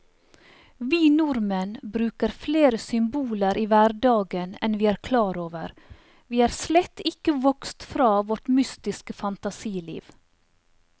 Vi nordmenn bruker flere symboler i hverdagen enn vi er klar over, vi er slett ikke vokst fra vårt mytiske fantasiliv.